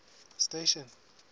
station